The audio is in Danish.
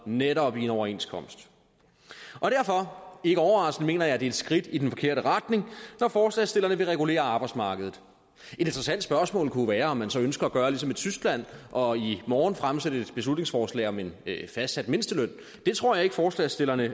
netop en overenskomst derfor mener ikke overraskende at det er et skridt i den forkerte retning når forslagsstillerne vil regulere arbejdsmarkedet et interessant spørgsmål kunne være om man så ønsker at gøre ligesom i tyskland og i morgen fremsætte et beslutningsforslag om en fastsat mindsteløn det tror jeg ikke forslagsstillerne